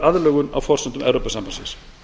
aðlögun á forsendum evrópusambandsins